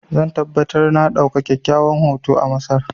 Zan tabbatar na ɗauka kyawawan hotuna a Masar.